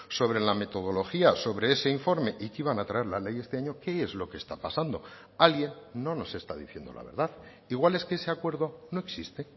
sobre la metodología sobre ese informe y que iban a traer la ley este año qué es lo que está pasando alguien no nos está diciendo la verdad igual es que ese acuerdo no existe